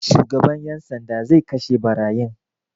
Shugaban 'yan sanda zai kashe ɓarayin.